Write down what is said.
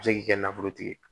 A bɛ se k'i kɛ nafolotigi ye